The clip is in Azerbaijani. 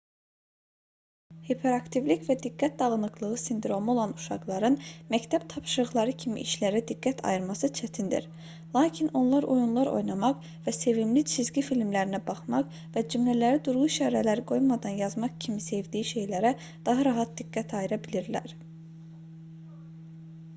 hiperaktivlik və diqqət dağınıqlığı sindromu olan uşaqların məktəb tapşırıqları kimi işlərə diqqət ayırması çətindir lakin onlar oyunlar oynamaq və sevimli cizgi filmlərinə baxmaq və cümlələri durğu işarələri qoymadan yazmaq kimi sevdiyi şeylərə daha rahat diqqət ayıra bilirlər